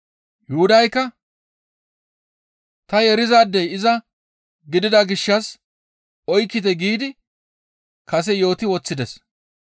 Yuhudaykka, «Ta yeerizaadey iza gidida gishshas oykkite» giidi kase yooti woththides.